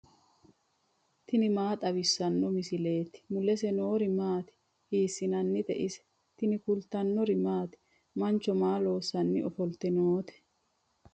tini maa xawissanno misileeti ? mulese noori maati ? hiissinannite ise ? tini kultannori maati? Mancho maa loosanni offolitte nootte?